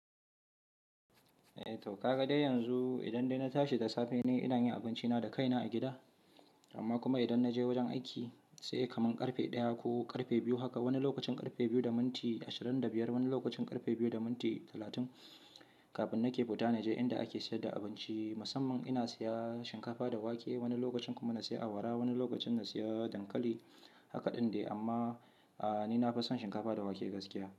Eh to ka ga dai yanzu idan dai na tashi da safe ne ina yin abinci na da kaina a gida, amma kuma idan na je wajen aiki sai kamar ƙarfe ɗaya ko ƙarfe biyu haka, wani lokacin ƙarfe biyu da minti ashirin da biyar, wani lokacin ƙarfe biyu da minti talatin, kafin na ke fita na je inda ake sayar da abinci. Musamman ina siya shinkafa da wake wani lokacin kuma na siya awara, wani lokacin na siya dankali. Haka ɗin ne amma, a ni na fason shinkafa da wake gaskiya.